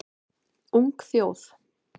Ung þjóð